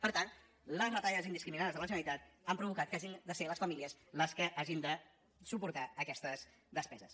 per tant les retallades indiscriminades de la generalitat han provocat que hagin de ser les famílies les que hagin de suportar aquestes despeses